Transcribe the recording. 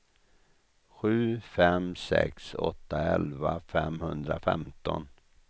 sju fem sex åtta elva femhundrafemton